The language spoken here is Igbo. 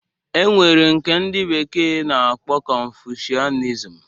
E nwere nke ndị bekee na-akpọ konfushianizm